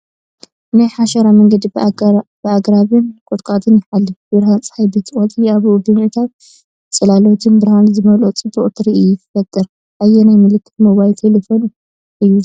ናይ ሓሸራ መንገዲ ብኣግራብን ቁጥቋጥን ይሓልፍ። ብርሃን ጸሓይ በቲ ቆጽሊ ኣቢሉ ብምእታው ጽላሎትን ብርሃንን ዝመልኦ ጽቡቕ ትርኢት ይፈጥር። ኣየናይ ምልክት ሞባይል ቴሌፎን እዩ ዝረአ?